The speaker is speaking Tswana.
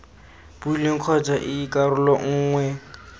beilweng kgotsa ii karolo nngwe